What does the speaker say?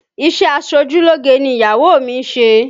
Isẹ aṣojúlógé ni ìyàwó mi ń ṣe